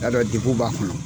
y'a dɔn degu b'a kɔnɔ.